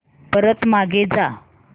परत मागे जा